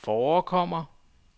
forekommer